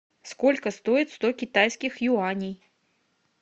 сколько стоит сто китайских юаней